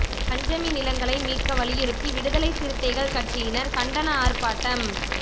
பஞ்சமி நிலங்களை மீட்க வலியுறுத்தி விடுதலை சிறுத்தைகள் கட்சியினர் கண்டன ஆர்ப்பாட்டம்